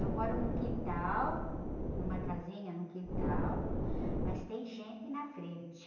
Eu moro num quintal, numa casinha num quintal, mas tem gente na frente.